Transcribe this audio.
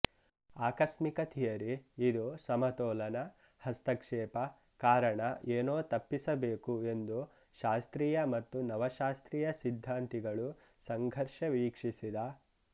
ಆಕಸ್ಮಿಕ ಥಿಯರಿ ಇದು ಸಮತೋಲನ ಹಸ್ತಕ್ಷೇಪ ಕಾರಣ ಏನೋ ತಪ್ಪಿಸಬೇಕು ಎಂದು ಶಾಸ್ತ್ರೀಯ ಮತ್ತು ನವಶಾಸ್ತ್ರೀಯ ಸಿದ್ಧಾಂತಿಗಳು ಸಂಘರ್ಷ ವೀಕ್ಷಿಸಿದ